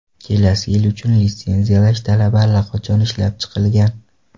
Kelasi yil uchun litsenziyalash talabi allaqachon ishlab chiqilgan.